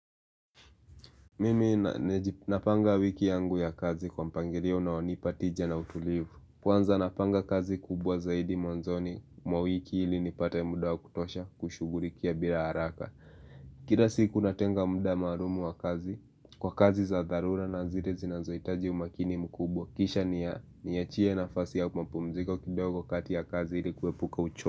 Mimi napanga wiki yangu ya kazi kwa mpangirio unaonipatija na utulivu Kwanza napanga kazi kubwa zaidi mwanzoni mwa wiki ili nipate muda wa kutosha kushugulikia bila haraka. Kira siku natenga muda marumu wa kazi kwa kazi za dharura na zile zinazoitaji umakini mkubwa Kisha ni ya ni ya chie na fasi ya kumapumziko kidogo kati ya kazi ili kuepuka uchoa.